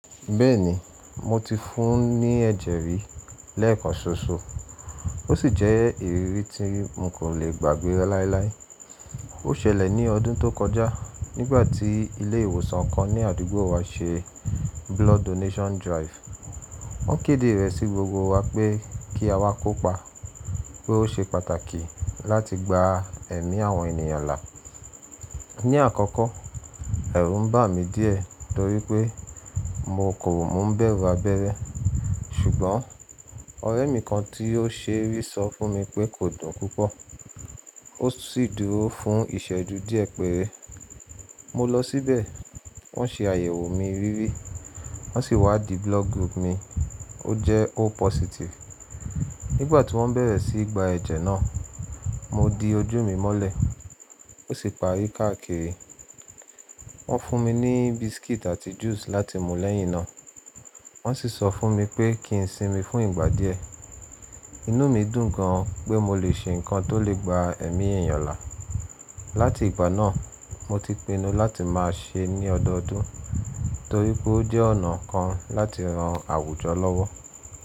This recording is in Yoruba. Bẹ́ẹ̀ni, mo ti fún ní ẹ̀jẹ̀ rí lẹ́ẹ̀kan ṣoṣo, ó sì jẹ́ ìrírí tí mo kò lè gbàgbé láíláí. Ó ṣẹlẹ̀ ní ọdún tó kọjá nígbà tí ilé ìwòsàn kan ní àdúgbò wa ṣe blood donation drive. Wọ́n kéde rẹ̀ sí gbogbo wa pé kí a wá kópa pé ó ṣe pàtàkì láti gba ẹ̀mí àwọn ènìyàn là. Ni àkọ́kọ́, ẹ̀rù ń bà mí díẹ̀ torí pé mo kò mú bẹ̀rù abẹ́rẹ́. Ṣùgbọ́n ọ̀rẹ́ mi kan tí ó ṣé rí sọ fún mi pé kò dún púpọ̀ ó sì dúró fún ìṣẹ́ju díẹ̀ pẹ́rẹ́. Mo lọ síbẹ̀, wọ́n ṣe àyẹ̀wò mi rírí wọ́n sì wádì blood group mi, ó jẹ́ O positive. Nígbà tí wọ́n bẹ̀rẹ̀ sí í gba ẹ̀jẹ̀ náà, mo di ojú mi mọ́lẹ̀, ó sì parí káàkiri. Wọ́n fún mi ní biscuit àti juice láti mú lẹ́yìn náà, wọ́n sì sọ fún mi pé kí n sinmi fún ìgbà díẹ̀. Inú mi dùn gan pé mo lè ṣe nǹkan tó lè gba ẹ̀mí ènìyàn là. Láti ìgbà náà, mo ti pinnu láti máa ṣe é ní ọdọọdún torí pé ó jẹ́ ọ̀nà kan láti ran àwùjọ lọ́wọ́.